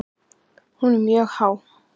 Hún er mjög há.